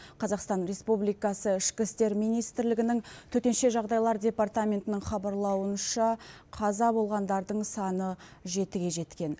қазақстан республикасы ішкі істер министрлігінің төтенше жағдайлар департаментінің хабарлауынша қаза болғандардың саны жетіге жеткен